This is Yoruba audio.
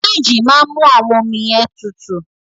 Fííjì máa mú àwọn ọmi yẹn tutù.